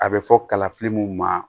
A bɛ fɔ kalafili mun ma